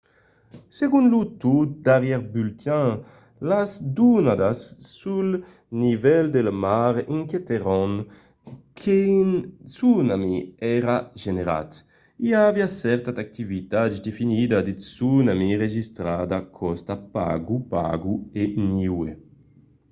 segon lo tot darrièr bulletin las donadas sul nivèl de la mar indiquèron qu’un tsunami èra generat. i aviá cèrta activitat definida de tsunami enregistrada còsta pago pago e niue